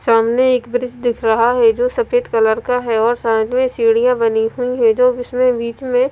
सामने एक ब्रिज दिख रहा है जो सफेद कलर का है और साइड में सीढ़ियां बनी हुई है जो जिसमें बीच में--